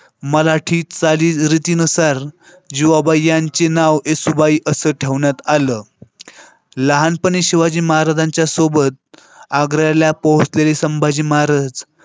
मराठीत चालीरीतीनुसार जीवबा यांचे नाव येसुबाई असं ठेवण्यात आलं. लहानपणी शिवाजी महाराजांच्या सोबत आग्र्याला पोहचलेले संभाजी महाराज